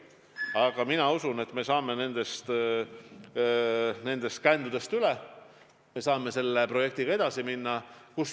Aga mina usun, et me saame nendest kändudest üle, me saame selle projektiga edasi minna.